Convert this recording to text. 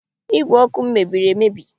Ígwè ọkụ m mebiri emebi